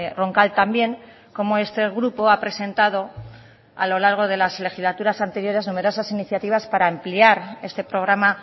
roncal también cómo este grupo ha presentado a lo largo de las legislaturas anteriores numerosas iniciativas para ampliar este programa